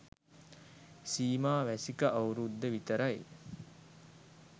සීමා වැසික අවුරුද්ද විතරයි